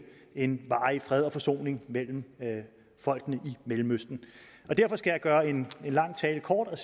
en varig fred og forsoning mellem folkene i mellemøsten derfor skal jeg gøre en lang tale kort og